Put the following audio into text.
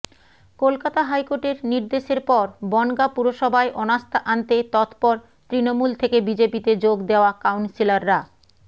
কলকাতা হাইকোর্টের নির্দেশের পর বনগাঁ পুরসভায় অনাস্থা আনতে তৎপর তৃণমূল থেকে বিজেপিতে যোগ দেওয়া কাউন্সিলররা